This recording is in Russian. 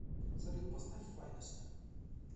салют поставь файнест